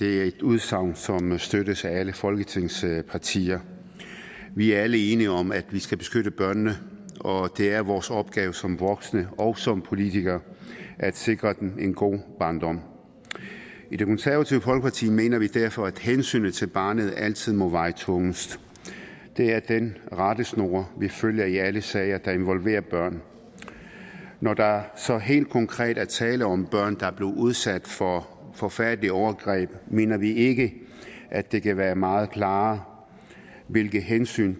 er et udsagn som støttes af alle folketingets partier vi er alle enige om at vi skal beskytte børnene og det er vores opgave som voksne og som politikere at sikre dem en god barndom i det konservative folkeparti mener vi derfor at hensynet til barnet altid må veje tungest det er den rettesnor vi følger i alle sager der involverer børn når der så helt konkret er tale om børn der er blevet udsat for forfærdelige overgreb mener vi ikke at det kan være meget klarere hvilke hensyn